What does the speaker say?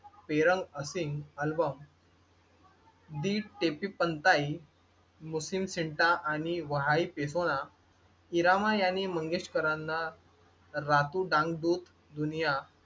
पेरंग असिंघ अल्बम मुस्लिम सेंटा आणि व्हाईट येतो ना इरामा यांनी मंगेशकरांना राहतो डांग डुप दुनिया